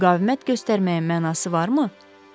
Müqavimət göstərməyə mənası varmı?